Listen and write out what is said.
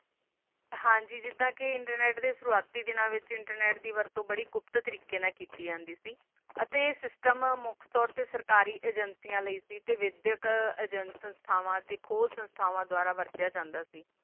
ਹਨ ਜੀ ਜਿਡਾ ਆ internet ਦੀ ਸਵਾਤੀ ਦਾ ਨਾਲ internet ਦੀ ਵਰਤੋ ਬੋਹਤ ਕੁਪਾਤ ਤਰੀਕਾ ਨਾਲ ਕੀਤੀ ਜਾਂਦੀ ਆ ਤਾ ਆ ਸਿਸਟਮ ਆਮ ਤੋਰ ਤਾ ਸਰਕਾਰੀ ਅਜਾਨ੍ਸਿਆ ਲੈ ਏਜੰਸੀ ਥਾਵਾ ਅਨੋ ਦੋਬਾਰਾ ਵਾਰਤਾ ਜਾਂਦਾ ਆ